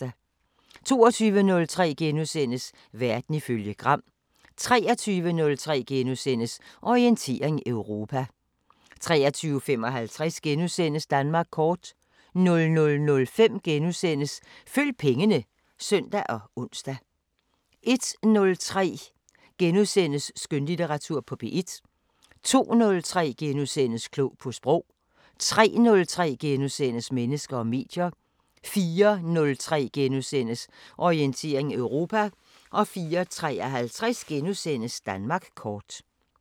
22:03: Verden ifølge Gram * 23:03: Orientering Europa * 23:55: Danmark kort * 00:05: Følg pengene *(søn og ons) 01:03: Skønlitteratur på P1 * 02:03: Klog på Sprog * 03:03: Mennesker og medier * 04:03: Orientering Europa * 04:53: Danmark kort *